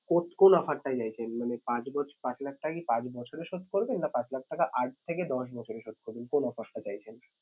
কোন কোন offer টা চাইছেন? মানে পাঁচ পাঁচ লাখ টাকা কি পাঁচ বছরে শোধ করবেন? না পাঁচ টাকা আট থেকে দশ বছরে শোধ করবেন? কোন offer টা চাইছেন?